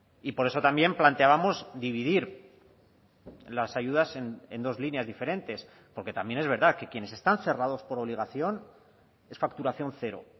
y por eso también planteábamos dividir las ayudas en dos líneas diferentes porque también es verdad que quienes están cerrados por obligación es facturación cero